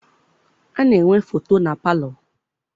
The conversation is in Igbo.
A na-enwe foto na palọ.